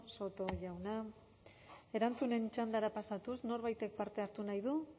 soto jauna erantzunen txandara pasatuz norbaitek parte hartu nahi du